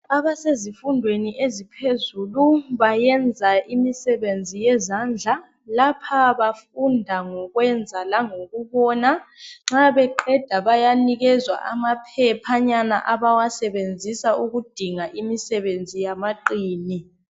Abasezifundweni eziphezulu bayenza imisebenzi yezandla lapha bafunda ngokwenza langokubona nxa beqeda bayaphiwa amaphephanyana abawasebenzisa ukudinga imisebenzi yamaqini.